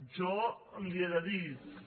jo li he de dir també